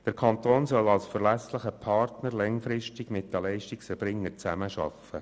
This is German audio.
Der Kanton soll als verlässlicher Partner langfristig mit den Leistungserbringern zusammenarbeiten.